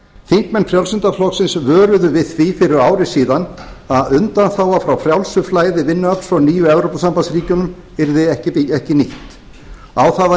þingmenn frjálslynda flokksins vöruðu við því fyrir ári síðan að undanþága frá frjálsu flæði vinnuafls frá nýju evrópusambandsríkjunum yrði ekki nýtt á það var